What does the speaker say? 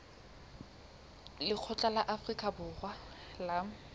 lekgotla la afrika borwa la